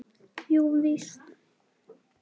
Jú, víst.